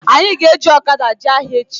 Anyị ga-eji ọkada jee ahịa echi